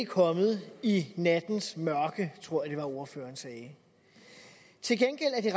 kommet i nattens mørke tror jeg at ordføreren sagde til gengæld er det